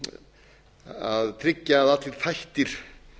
er mikilvægt að tryggja að allir þættir